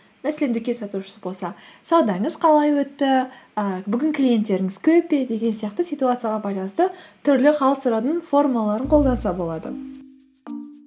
мәселен дүкен сатушысы болса саудаңыз қалай өтті ііі бүгін клиенттеріңіз көп пе деген сияқты ситуацияға байланысты түрлі хал сұраудың формаларын қолданса болады